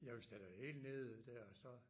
Ja hvis den er helt nede der så